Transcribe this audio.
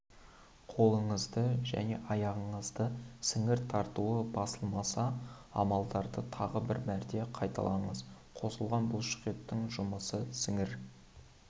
қолыңыздың және аяғыңыздың сіңір тартуы басылмаса амалдарды тағы бір мәрте қайталаңыз қосылған бұлшықеттің жұмысы сіңір